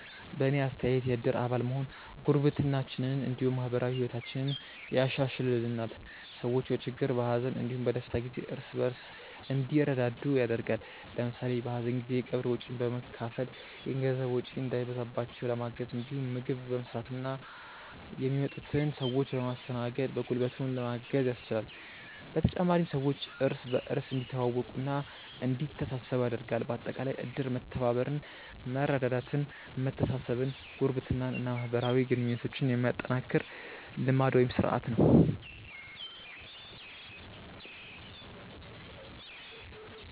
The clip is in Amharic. በእኔ አስተያየት የእድር አባል መሆን ጉርብትናችንን እንዲሁም ማህበራዊ ህይወታችንን ያሻሻሽልልናል። ሰዎች በችግር፣ በሀዘን እንዲሁም በደስታ ጊዜ እርስ በእርስ እንዲረዳዱ ያደርጋል። ለምሳሌ በሀዘን ጊዜ የቀብር ወጪን በመካፈል የገንዘብ ወጪ እንዳይበዛባቸው ለማገዝ እንዲሁም ምግብ በመስራትና የሚመጡትን ሰዎች በማስተናገድ በጉልበትም ለማገዝ ያስችላል። በተጨማሪም ሰዎች እርስ በእርስ እንዲተዋወቁና እንዲተሳሰቡ ያደርጋል። በአጠቃላይ እድር መተባበርን፣ መረዳዳትን፣ መተሳሰብን፣ ጉርብትናን እና ማህበራዊ ግንኙነትን የሚያጠናክር ልማድ (ስርአት) ነው።